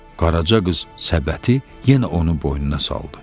Qaraca qız səbəti yenə onun boynuna saldı.